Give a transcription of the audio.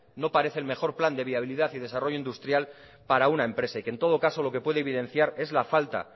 no parece el mejor plan de viabilidad y desarrollo industrial para una empresa y que en todo caso lo que puede evidenciar es la falta